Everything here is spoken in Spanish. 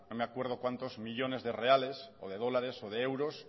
no me acuerdo cuantos millónes de reales o de dólares o de euros